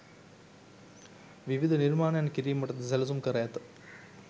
විවිධ නිර්මාණයන් කිරීමටද සැලසුම් කර ඇත.